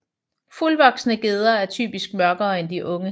Fuldvoksne gedder er typisk mørkere end de unge